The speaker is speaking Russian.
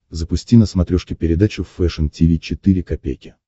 запусти на смотрешке передачу фэшн ти ви четыре ка